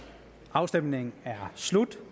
afstemningen er slut